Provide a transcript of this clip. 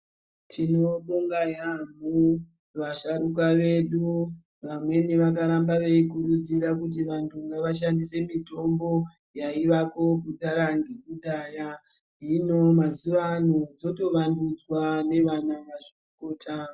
Tinobonga yaampho vasharuka vedu vamweni vakaramba veikurudzira kuti vantu ngavashandise mitombo yaivako kudhara ngekudhaya. Hino mazuwano dzotovandudzwa navanamazvikokota.